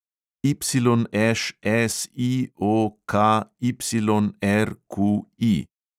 YŠSIOKYRQI